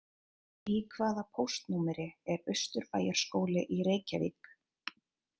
Í hvaða póstnúmeri er Austurbæjarskóli í Reykjavík?